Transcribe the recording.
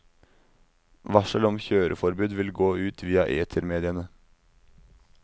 Varsel om kjøreforbud vil gå ut via etermediene.